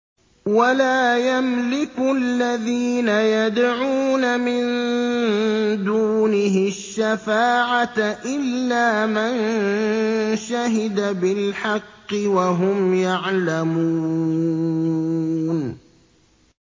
وَلَا يَمْلِكُ الَّذِينَ يَدْعُونَ مِن دُونِهِ الشَّفَاعَةَ إِلَّا مَن شَهِدَ بِالْحَقِّ وَهُمْ يَعْلَمُونَ